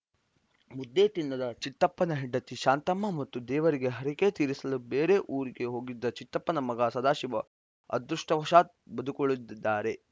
ಮುದ್ದೆ ತಿನ್ನದ ಚಿತ್ತಪ್ಪನ ಹೆಂಡತಿ ಶಾಂತಮ್ಮ ಮತ್ತು ದೇವರಿಗೆ ಹರಿಕೆ ತೀರಿಸಲು ಬೇರೆ ಊರಿಗೆ ಹೋಗಿದ್ದ ಚಿತ್ತಪ್ಪನ ಮಗ ಸದಾಶಿವ ಅದೃಷ್ಟವಶಾತ್‌ ಬದುಕುಳಿದಿದ್ದಾರೆ